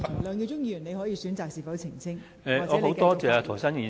梁耀忠議員，你可選擇澄清或繼續發言。